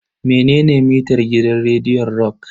Menene mitar gidan rediyon rock?